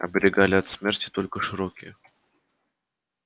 оберегали от смерти только широкие